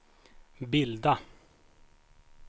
bilda